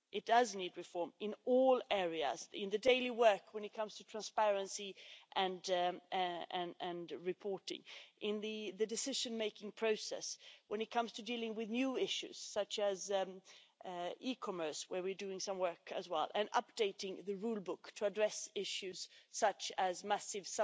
It does need reform in all areas in the daily work when it comes to transparency and reporting, in the decision making process when it comes to dealing with new issues such as e commerce, where we're doing some work as well, and updating the rule book to address issues such as massive